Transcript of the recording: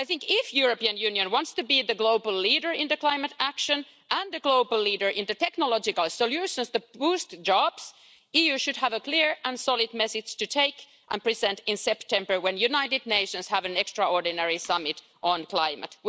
If the European Union wants to be the global leader in climate action and the global leader in technological solutions to boost jobs, I think that the EU should have a clear and solid message to take and present in September when the United Nations have an extraordinary summit on climate.